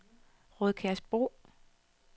Rødkærsbro